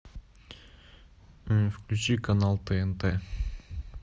включи канал тнт